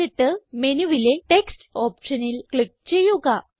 എന്നിട്ട് മെനുവിലെ ടെക്സ്റ്റ് ഓപ്ഷനിൽ ക്ലിക്ക് ചെയ്യുക